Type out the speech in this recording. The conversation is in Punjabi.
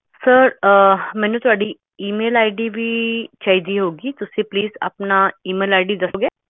sir ਮੈਨੂੰ ਤੁਹਾਡੀ email id ਦੀ ਲੋੜ ਹੈ ਤੁਸੀਂ ਆਪਣੀ email ID ਦੱਸੋ